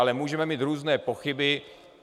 Ale můžeme mít různé pochyby.